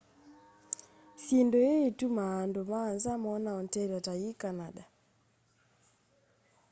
syindu ĩi itumaa andũ ma nza mona ontaria ta yi canada